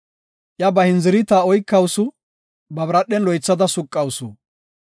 Iya ba hindziritiya oykawusu; ba biradhen loythada suqawusu.